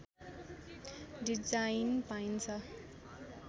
design पाइन्छ